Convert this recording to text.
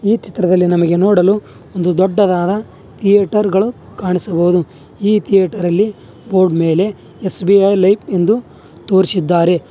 ಈ ಚಿತ್ರದಲ್ಲಿ ನಮಗೆ ನೋಡಲು ಒಂದು ದೊಡ್ಡದಾದ ಥೀಯೇಟರ್ ಗಳು ಕಾಣಿಸಬಹುದು ಈ ಥಿಯೇಟರ್ ಅಲ್ಲಿ ಬೋರ್ಡ್ ಮೇಲೆ ಎಸ್_ಬಿ_ಐ ಲೈಫ್ ಎಂದು ತೋರಿಸಿದ್ದಾರೆ.